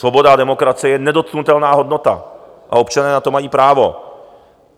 Svoboda a demokracie je nedotknutelná hodnota a občané na to mají právo.